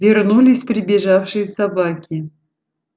вернулись прибежавшие собаки